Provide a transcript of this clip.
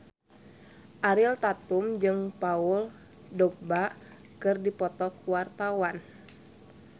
Ariel Tatum jeung Paul Dogba keur dipoto ku wartawan